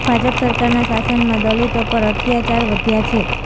ભાજપ સરકારના શાસનમાં દલીતો પર અત્યાચાર વધ્યા છે